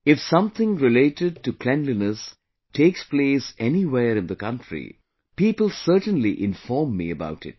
If something related to cleanliness takes place anywhere in the country people certainly inform me about it